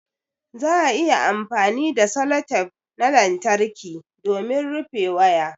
Za'a iya amfani da sellotape na lantarƙi domin rufe waya